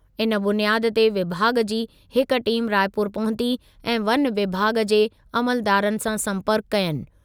इन बुनियाद ते विभाॻ जी हिक टीम रायपुर पहुती ऐं वन विभाॻ जे अमलदारनि सां संपर्कु कयनि।